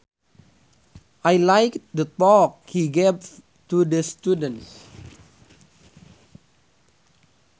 I liked the talk he gave to the students